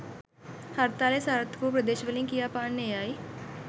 හර්තාලය සාර්ථක වූ ප්‍රදේශවලින් කියා පාන්නේ එයයි.